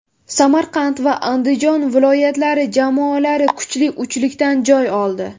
Samarqand va Andijon viloyatlari jamoalari kuchli uchlikdan joy oldi.